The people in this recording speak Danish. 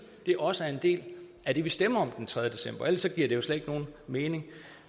det også er en del af det vi stemmer om den tredje december ellers giver det jo slet ikke nogen mening